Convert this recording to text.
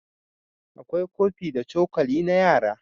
akwai kofi da cokali na yara